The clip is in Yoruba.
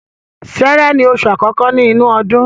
Sẹ́rẹ́ ni oṣù àkọ́kọ́ ni inu ọdún